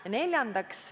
Ja neljandaks.